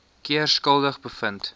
keer skuldig bevind